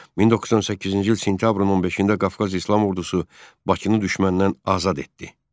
1918-ci il sentyabrın 15-də Qafqaz İslam Ordusu Bakını düşməndən azad etdi.